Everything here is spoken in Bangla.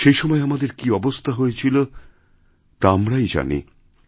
সেই সময়আমাদের কী অবস্থা হয়েছিল তা আমরাই জানি